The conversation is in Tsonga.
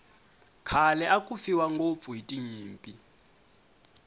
khale aku fiwa ngopfu hiti nyimpi